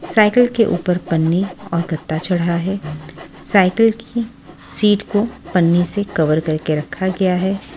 Cycle के ऊपर पन्नी और गद्दा चढ़ा है साइकिल की सीट को पन्नी से कवर करके रखा गया है।